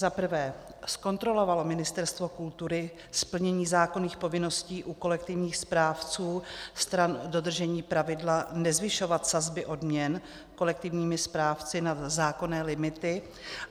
Za prvé, zkontrolovalo Ministerstvo kultury splnění zákonných povinností u kolektivních správců stran dodržení pravidla nezvyšovat sazby odměn kolektivními správci nad zákonné limit?